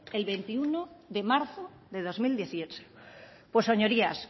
el veintiuno de marzo de dos mil dieciocho pues señorías